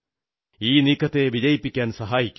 ഈ നീക്കത്തെ വിജയിപ്പിക്കാൻ സഹായിക്കൂ